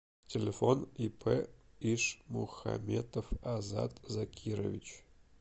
телефон ип ишмухаметов азат закирович